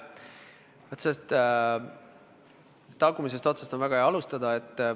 Vaat sellest tagumisest otsast on väga hea alustada.